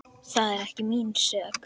Það er ekki mín sök.